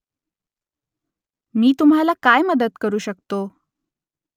मी तुम्हाला काय मदत करू शकतो ?